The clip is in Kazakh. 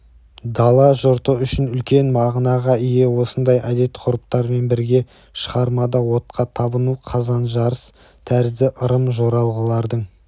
дала жұрты үшін үлкен мағынаға ие осындай әдет-ғұрыптармен бірге шығармада отқа табыну қазан жарыс тәрізді ырым-жоралғылардың